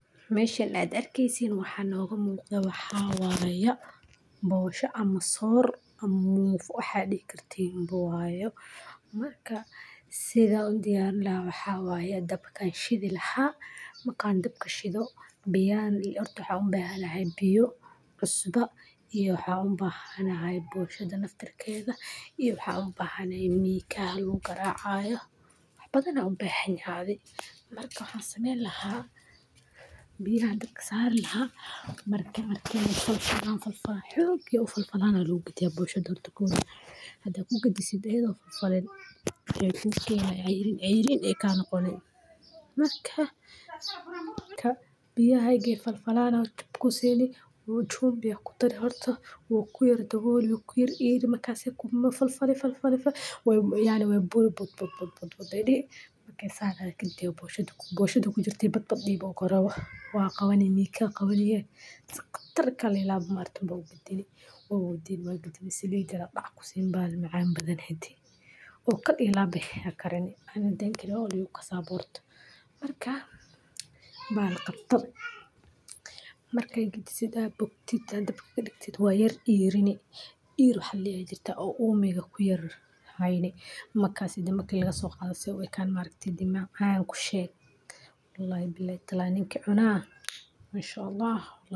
Meshan aad u jediin waxa noga muuqdo waxa xawaaya bawoosha ama soo r, Amuu waxaad ikartay inuu buuwaayo. Marka sida undiana waa xawaaya dabkan shiida laxa ma kaan dib ka shido. Biyaan hortu waxaa uun bahana hay biyo cusba iyo waxa uun bahana hay buushada naftarkeda iyo waxa uun bahana hay miika hal uun karaacayo. Badana uun baahan yari marka ahaan sameyn lahaa. Biyaa dabsadeen ha markeena keena fal fal xooogi u fal falana luugi boosho dartego hadda ku geli siday idoo fal falin cayfuusii ayay ceeyneen ee ka noqonay. Marka ka biyaahayge fal fal ahan. Hubkusiini wuxuu june biya ku tali horto. Wu ku yar tugurku yar iir. Makaas ku ma fal fal fal fal fal wayn way bul bud bud bud bud budani. Saadet intee buushadu buushadu ku jirta badbaadi boqor ah. Waa qabanaya nika qabani khatarta kale la marti boqortii waa haddii waagiga si looga dhaco baarimaan badan. Hadii oo kadib ilaa bakar. Aniga halkaasaa boqortu marka baan qabtay. Markay geli sida bogtita daba galihtida waayar iirina. Iir waxa laga jira oo uumiga ku yar hayne. Makaad sidi marka laga soo qaado si uu ekaan marka dimaac aan ku sheeg. La iblaay tallaaneen keena inshaAllah.